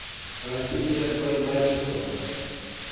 рафия байбарисова